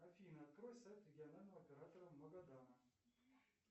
афина открой сайт регионального оператора магадана